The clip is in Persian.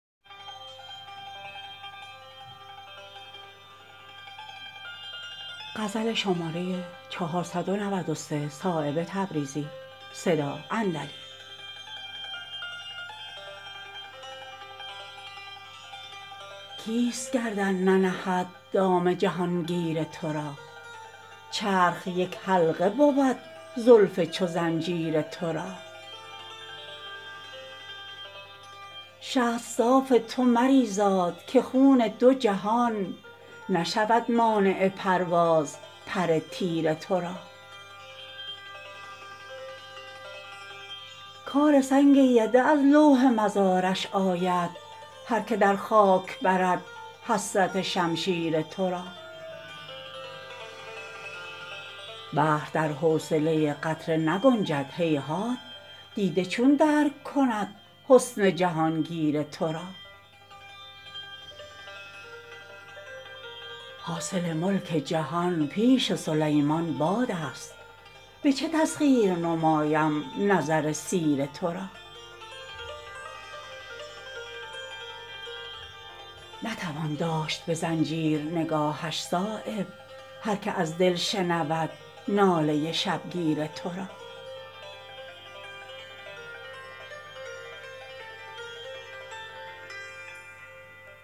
کیست گردن ننهد دام جهانگیر ترا چرخ یک حلقه بود زلف چو زنجیر ترا شست صاف تو مریزاد که خون دو جهان نشود مانع پرواز پر تیر ترا کار سنگ بده از لوح مزارش آید هر که در خاک برد حسرت شمشیر ترا بحر در حوصله قطره نگنجد هیهات دیده چون درک کند حسن جهانگیر ترا حاصل ملک جهان پیش سلیمان بادست به چه تسخیر نمایم نظر سیر ترا نتوان داشت به زنجیر نگاهش صایب هر که از دل شنود ناله شبگیر ترا